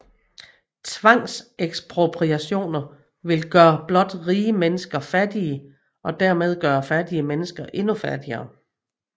Tvangsekspropriation ville blot gøre rige mennesker fattige og dermed gøre fattige mennesker endnu fattigere